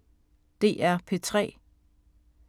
DR P3